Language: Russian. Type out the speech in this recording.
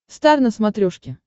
стар на смотрешке